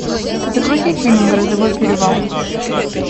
загрузи фильм грозовой перевал